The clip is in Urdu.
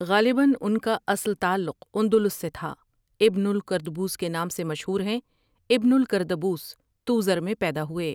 غالباً ان کا اصل تعلق اندلس سے تھا ابن الکردبوس کے نام سے مشہور ہیں ابن الکردبوس توزر میں پیدا ہوئے ۔